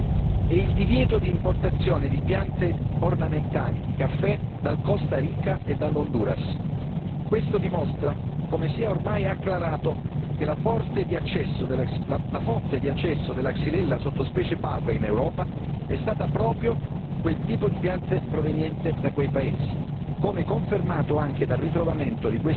La prima decisione, che salutiamo con soddisfazione, è il divieto di importazione di piante ornamentali di caffè dal Costa Rica e dall'Honduras. Questo dimostra come sia ormai acclarato che la fonte di accesso della Xylella sottospecie Pauca in Europa è stata proprio quel tipo di pianta proveniente da quei paesi,